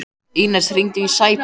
Ínes, hringdu í Sæberg.